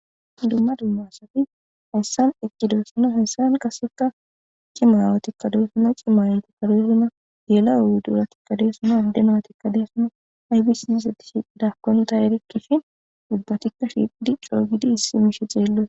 Dumma dumma asati hayssan eqqidayssanne hayssan qassekka cima aawati doosona cima aayetikka doosona, geela'o wuduratikka doosona , adde naytikka doosona. Aybis izeti shiiqidakonne tay erikke shin ubbatikka shiiqidi coo giidi issi mishshe xeellosona.